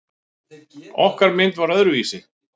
Okkar mynd var öðruvísi.